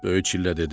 Böyük çillə dedi.